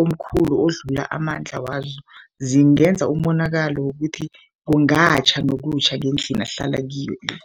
omkhulu odlula amandla wazo, zingenza umonakalo wokuthi kungatjha nokutjha ngendlini ahlala kiyo le.